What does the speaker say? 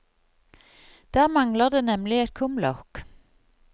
Der mangler det nemlig et kumlokk.